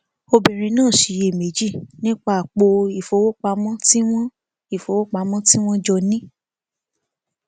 obìnrin náà ṣiyèméjì nípa apò ìfowópamọ tí wọn ìfowópamọ tí wọn jọ ní